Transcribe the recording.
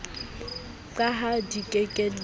ka ha di ke ke